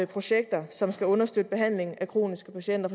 projekter som skal understøtte behandlingen af kroniske patienter